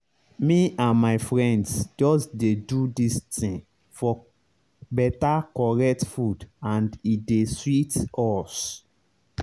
me and my friends just dey do this tin for beta correct food and e don dey sweet us